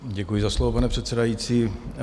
Děkuji za slovo, pane předsedající.